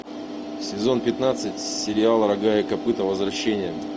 сезон пятнадцать сериал рога и копыта возвращение